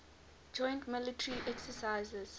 joint military exercises